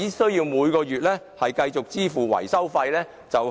他們每月只須繼續支付維修費便可。